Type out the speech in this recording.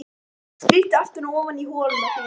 Skríddu aftur ofan í holuna þína.